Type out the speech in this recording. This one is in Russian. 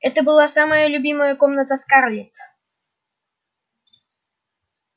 это была самая любимая комната скарлетт